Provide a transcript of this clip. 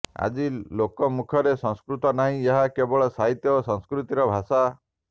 ଆଜି ଲୋକମୁଖରେ ସଂସ୍କୃତ ନାହିଁ ଏହା କେବଳ ସାହିତ୍ୟ ଓ ସଂସ୍କୃତିର ଭାଷା